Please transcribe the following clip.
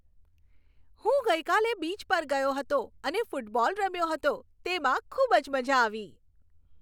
હું ગઈકાલે બીચ પર ગયો હતો અને ફૂટબોલ રમ્યો હતો. તેમાં ખુબ જ મજા આવી.